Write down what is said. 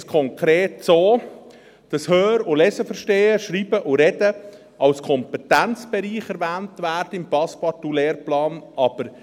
Dort ist es konkret so, dass das Hör- und Leseverstehen, das Schreiben und Sprechen, als Kompetenzbereich im Passepartout-Lehrplan erwähnt wird.